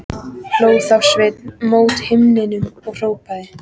Hló þá Sveinn mót himninum og hrópaði: